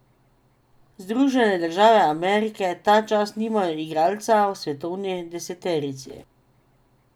Združene države Amerike ta čas nimajo igralca v svetovni deseterici.